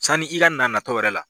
Sanni i ka na natɔ yɛrɛ la